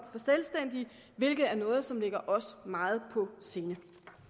selvstændige hvilket er noget som ligger os meget på sinde